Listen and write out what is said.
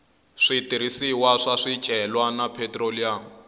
switirhisiwa swa swicelwa na phetroliyamu